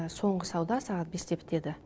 соңғы сауда сағат бесте бітеді